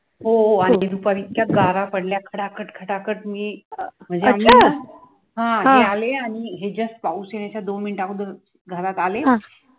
हो आणि दुपारी इतक्या गारा पडल्यात खटा खट खटा खट मी, म्हणजे आम्ही ना , हा मी आले आणि just पाऊस येण्याच्या दोन मिनिटा अघोदर घरात आले